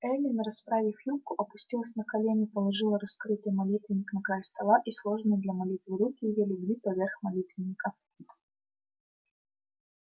эллин расправив юбку опустилась на колени положила раскрытый молитвенник на край стола и сложенные для молитвы руки её легли поверх молитвенника